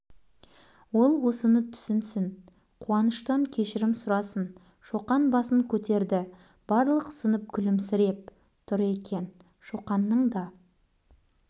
ол осыны түсінсін қуаныштан кешірім сұрасын шоқан басын көтерді барлық сынып күлімсіреп тұр екен шоқанның да